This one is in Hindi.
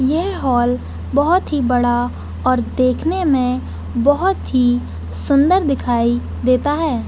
ये हॉल बहोत ही बड़ा और देखने में बहोत ही सुन्दर दिखाई देता है।